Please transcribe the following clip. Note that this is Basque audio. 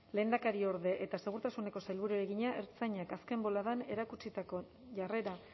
lehendakariorde eta segurtasuneko sailburuari egina ertzaintzak azken boladan erakutsitako jarrera